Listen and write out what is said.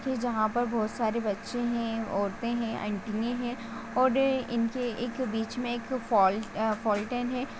जहां पर बहुत सारे बच्चे है औरते है आंटियां है और इनके एक बीच मे एक फॉल्ट फॉल्टन है।